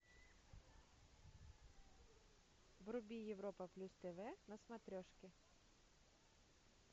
вруби европа плюс тв на смотрешке